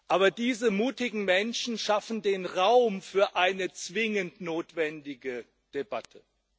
Aber diese mutigen Menschen schaffen den Raum für eine zwingend notwendige Debatte.